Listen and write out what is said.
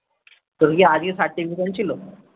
তোর কি আগে certification ছিল